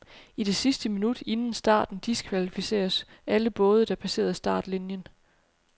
I det sidste minut inden starten diskvalificeres alle både, der passerer startlinien.